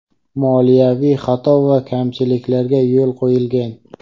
moliyaviy xato va kamchiliklarga yo‘l qo‘yilgan.